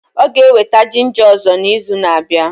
Ọ ga-eweta ginja ọzọ na izu na abịa